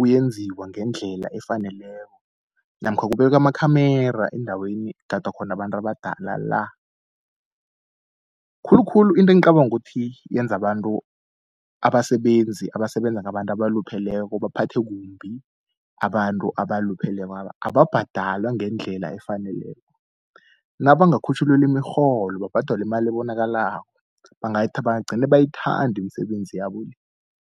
uyenziwa ngendlela efaneleko namkha kubekwe amakhemera endaweni ekugadwa khona abantu abadala la. Khulukhulu into engicabanga ukuthi yenza abantu abasebenzi abasebenza ngabantu abalupheleko baphathe kumbi abantu abaluphelekwaba ababhadalwa ngendlela efaneleko, nabangakhutjhulelwa imirholo babhadalwe imali ebonakalako bangagcine bayithanda imisebenzi yabo le.